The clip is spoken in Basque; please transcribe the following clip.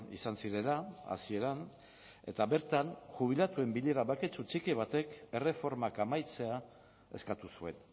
izan zirela hasieran eta bertan jubilatuen bilera baketsu txiki batek erreformak amaitzea eskatu zuen